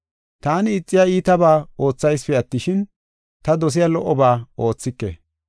Taani ixiya iitabaa oothaysipe attishin, ta dosiya lo77oba oothike.